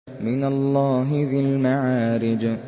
مِّنَ اللَّهِ ذِي الْمَعَارِجِ